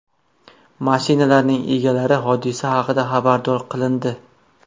Mashinalarning egalari hodisa haqida xabardor qilindi.